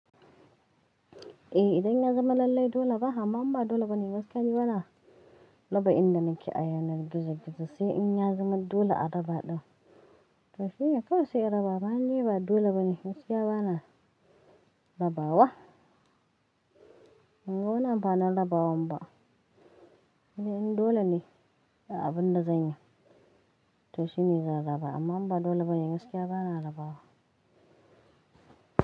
Eh idan in ya zama lallai dole ba, amma in ba dole ba ne gaskiya ba na raba inda nake ayanar gizo-gizo sai in ya zama dole a raba ɗin. To shine kawai sai in raba ba'n yi ba dole ba ne gaskiya bana rabawa. Banga wani amfanin rabawa ba. Sai dai in dole ne a abun da zan yi to shi ne zan raba amma ba dole ba ne gaskiya bana rabawa.